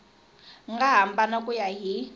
nga hambana ku ya hi